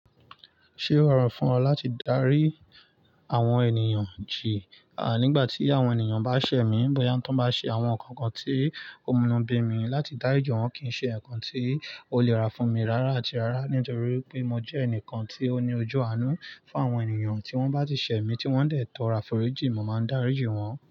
Ṣé ó rọrùn fún ọ láti darí àwọn ènìyàn jì? À, nígbà tí àwọn ènìyàn bá ṣẹ̀ mí, bóyá wọn tó bá ṣe àwọn nǹkan kan tí ó mú nú bí mi, láti dá rí jì wọn kì í ṣe nǹkan tí ó lè rá fún mi rárá àti rárá. Nítorí pé mo jẹ́ ẹnìkan tí ó ní ojú àánú fún àwọn ènìyàn tí wọ́n bá ti ṣẹ̀ mí tí wọ́n dẹ̀ tọ́ ra fọ̀rí jì, mo máa ń darí ìjì wọn.